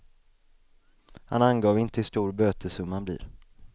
Han angav inte hur stor bötessumman blir.